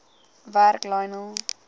werk lionel